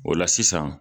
O la sisan